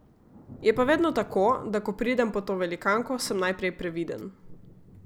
Je pa vedno tako, da ko pridem pod to velikanko, sem najprej previden.